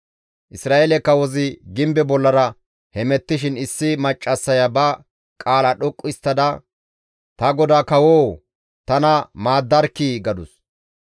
Isra7eele kawozi gimbe bollara hemettishin issi maccassaya ba qaala dhoqqu histtada, «Ta godaa kawoo! Tana maaddarkkii!» gadus.